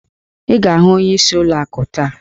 Ị ga-ahụ ọnyeisi ụlọ akụ taa!